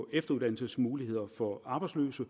efteruddannelsesmuligheder for arbejdsløse